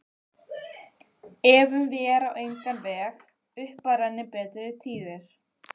Efum vér á engan veg upp að renni betri tíðir